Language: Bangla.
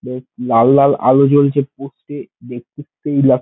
লাল লাল আলো জ্বলছে পোস্টে -এ